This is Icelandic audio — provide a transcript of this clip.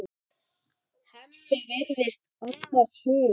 Hemmi virðist annars hugar.